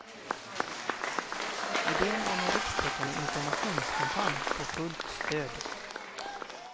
Idén om en rikstäckande informationskampanj får fullt stöd.